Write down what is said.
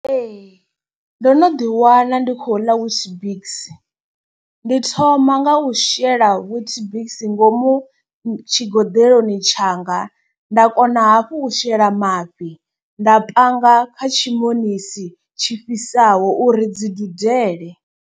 Ee, ndo no ḓi wana ndi khou ḽa witbix, ndi thoma nga u shela witbix ngomu tshigoḓeloni tshanga. Nda kona hafhu u shela mafhi nda panga kha tshimonisi tshi fhisaho uri dzi dudele.